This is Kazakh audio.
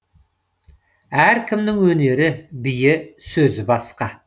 әркімнің өнері биі сөзі басқа